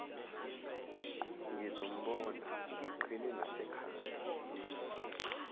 ngizombona ngiqhine nasekhanda